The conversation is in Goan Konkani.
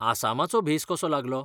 आसामाचो भेस कसो लागलो?